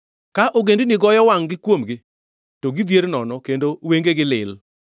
Ka ogendini goyo wangʼni kuomgi, to gidhier nono kendo wengegi lil.